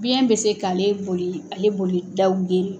Biyɛn bɛ se k'ale boli, ale boli daw geren!